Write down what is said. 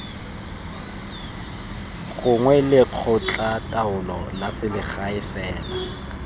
gongwe lekgotlataolo la selegae fela